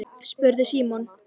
spurði Símon.